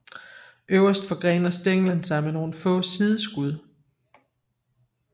Øverst forgrener stænglen sig med nogle få sideskud